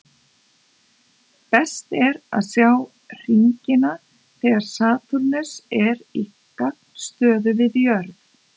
Best er að sjá hringina þegar Satúrnus er í gagnstöðu við jörð.